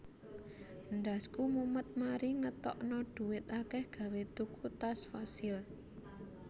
Ndasku mumet mari ngetokno duit akeh gawe tuku tas Fossil